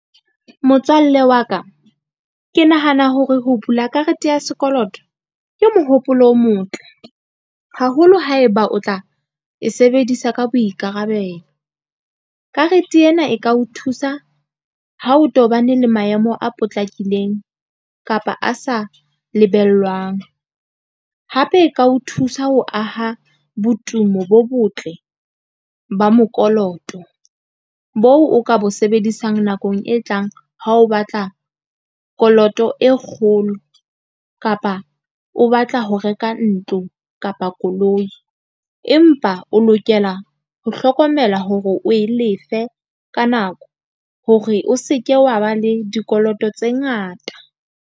Motswalle wa ka ke nahana hore ho bula karete ya sekoloto ke mohopolo o motle haholo haeba o tla e sebedisa ka boikarabelo. Karete ena e ka o thusa ha o tobane le maemo a potlakileng kapa a sa lebellwang. Hape e ka o thusa ho aha botumo bo botle ba mokoloto bo o ka bo sebedisang nakong e tlang. Ha o batla koloto e kgolo kapa o batla ho reka ntlo kapa koloi. Empa o lokela ho hlokomela hore o e lefe ka nako hore o seke wa ba le dikoloto tse ngata.